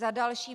Za další.